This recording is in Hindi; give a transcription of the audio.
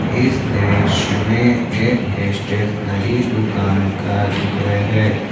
इस दृश्य में एक स्टेशनरी दुकान का चित्र है।